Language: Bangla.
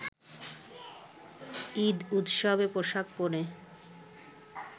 ঈদ উৎসবে পোশাক পরে